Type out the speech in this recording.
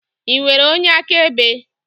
Ị nwere onye akaebe?